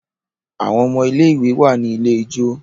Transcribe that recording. Àwon ọmọ ilé ìwé wá ní ilẹ̀ ijọ.